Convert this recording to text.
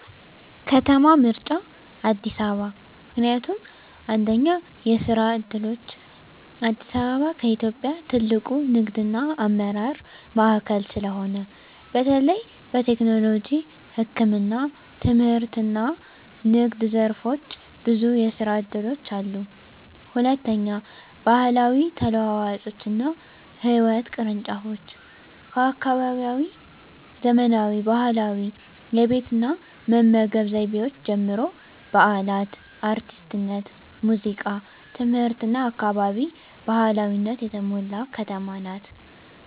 ከተማ ምርጫ አዲስ አበባ ምክንያቱም፦ 1. የስራ ዕድሎች: አዲስ አበባ ከኢትዮጵያ ትልቁ ንግድና አመራር ማዕከል ስለሆነ፣ በተለይ በቴክኖሎጂ፣ ህክምና፣ ትምህርትና ንግድ ዘርፎች ብዙ የስራ እድሎች አሉ። 2. ባህላዊ ተለዋዋጮችና ህይወት ቅርንጫፎች: ከአካባቢያዊ ዘመናዊ ባህላዊ የቤት እና መመገብ ዘይቤዎች ጀምሮ፣ በዓላት፣ አርቲስትነት፣ ሙዚቃ፣ ትምህርትና አካባቢ ባህላዊነት የተሞላ ከተማ ናት።